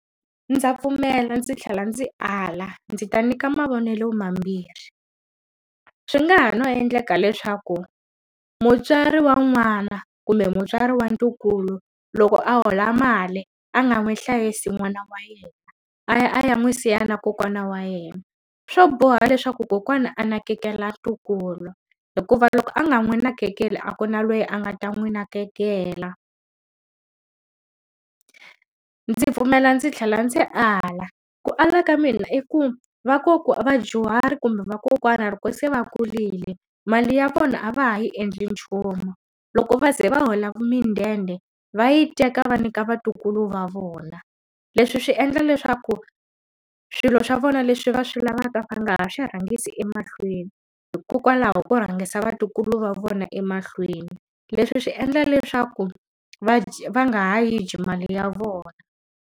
Ndza pfumela ndzi tlhela ndzi ala, ndzi ta nyika mavonelo mambirhi. Swi nga ha endleka leswaku mutswari wa n'wana, kumbe mutswari wa ntukulu loko a hola mali a nga n'wi hlayisi n'wana wa yena, a ya a ya n'wi siya na kokwana wa yena. Swo boha leswaku kokwana a nakekela ntukulu. Hikuva loko a nga n'wi nakekeli a ku na loyi a nga ta n'wi nakekela ndzi pfumela ndzi tlhela ndzi ala. Ku ala ka mina i ku vadyuhari kumbe vakokwana loko se va kurile, mali ya vona a va ha yi endli nchumu. Loko va ze va hola midende va yi teka va nyika vatukulu va vona. Leswi swi endla leswaku swilo swa vona leswi va swi lavaka va nga ha swi rhangisi emahlweni, hikokwalaho ko rhangisa vatukulu va vona emahlweni. Leswi swi endla leswaku va va nga ha yi dyi mali ya vona.